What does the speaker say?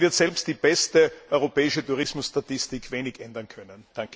Daran wird selbst die beste europäische Tourismusstatistik wenig ändern können.